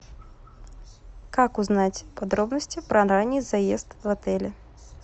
как узнать подробности про ранний заезд в отеле